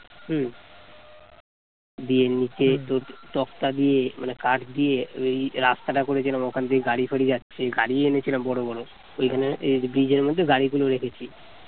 দিয়ে নিচে তক্তা দিয়ে মানে কাঠ দিয়ে ওই রাস্তাটা করেছিলাম ওখান দিয়ে গাড়ি ফাঁড়ি যাচ্ছে গাড়ি এনেছিলাম বড় বড় ওখানে bridge র মধ্যে গাড়ি গুলো রেখেছি।